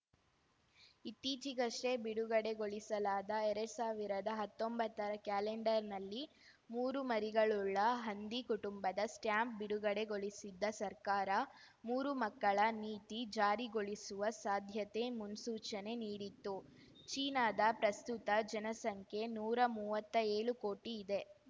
ಇತ್ತೀಚೆಗಷ್ಟೇ ಬಿಡುಗಡೆಗೊಳಿಸಲಾದ ಎರಡ್ ಸಾವಿರ್ದ ಹತ್ತೊಂಬತ್ತರ ಕ್ಯಾಲೆಂಡರ್‌ನಲ್ಲಿ ಮೂರು ಮರಿಗಳುಳ್ಳ ಹಂದಿ ಕುಟುಂಬದ ಸ್ಟಾಂಪ್‌ ಬಿಡುಗಡೆಗೊಳಿಸಿದ್ದ ಸರ್ಕಾರ ಮೂರು ಮಕ್ಕಳ ನೀತಿ ಜಾರಿಗೊಳಿಸುವ ಸಾಧ್ಯತೆ ಮುನ್ಸೂಚನೆ ನೀಡಿತ್ತು ಚೀನಾದ ಪ್ರಸ್ತುತ ಜನಸಂಖ್ಯೆ ನೂರಾ ಮುವ್ವತ್ತೇಳು ಕೋಟಿ ಇದೆ